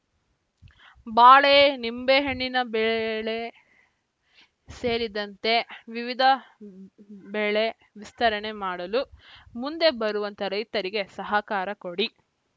ಬಾಳೆ ನಿಂಬೆಹಣ್ಣಿನ ಬೆಳೆ ಸೇರಿದಂತೆ ವಿವಿಧ ಬೆಳೆ ವಿಸ್ತರಣೆ ಮಾಡಲು ಮುಂದೆ ಬರುವಂತ ರೈತರಿಗೆ ಸಹಕಾರ ಕೊಡಿ